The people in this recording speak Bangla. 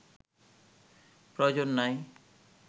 প্রয়োজন নাই